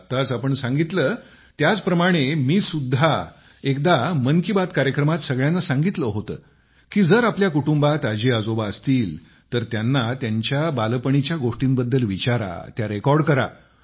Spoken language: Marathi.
आताच आपण सांगितले त्याच प्रमाणे मी सुद्धा एकदा मन की बात कार्यक्रमात सगळ्यांना सांगितले होते की जर आपल्या कुटुंबात आजीआजोबा असतील तर त्यांना त्यांच्या बालपणीच्या गोष्टींबद्दल विचारा त्या रेकॉर्ड करा